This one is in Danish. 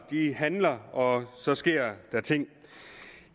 handler og så sker der ting